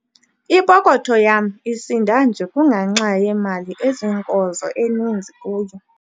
Ipokotho yam isinda nje kungenxa yemali eziinkozo eninzi kuyo.